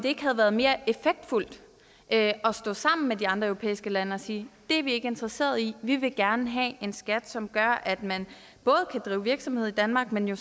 ikke været mere effektfuldt at stå sammen med de andre europæiske lande og sige det er vi ikke interesserede i vi vil gerne have en skat som både gør at man kan drive virksomhed i danmark men jo